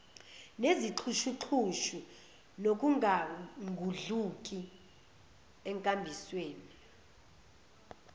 nezixhushuxhushu nokungangudluki enkambisweni